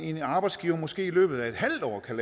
en arbejdsgiver måske i løbet af en halv år kan